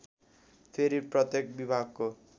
फेरि प्रत्येक विभागको